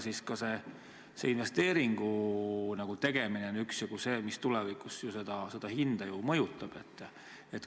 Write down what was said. Eks ka see investeeringu tegemine on see, mis tulevikus ju üksjagu seda hinda mõjutab.